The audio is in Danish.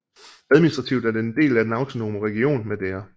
Administrativt er den en del af den autonome region Madeira